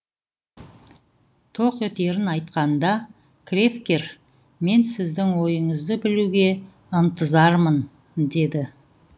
тоқ етерін айтқанда кревкер мен сіздің ойыңызды білуге ынтызармын деді